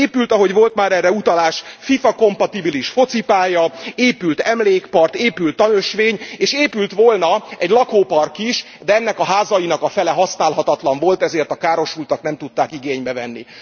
Épült ahogy volt már erre utalás FIFA kompatibilis focipálya, épült emlékpark, épült tanösvény, és épült volna egy lakópark is, de ennek a házainak a fele használhatatlan volt, ezért a károsultak nem tudták igénybe venni.